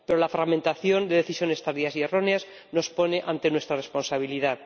Pero la fragmentación de decisiones tardías y erróneas nos pone ante nuestra responsabilidad.